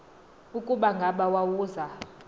ukuba ngaba wawuza